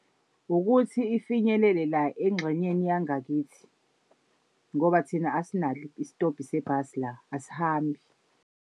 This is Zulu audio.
Ukuthi ifinyelele la engxenyeni yangakithi ngoba thina asinalo isitobhu sebhasi la asihambi.